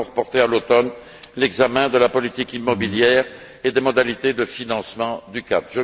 Nous avons reporté à l'automne l'examen de la politique immobilière et des modalités de financement du KAD.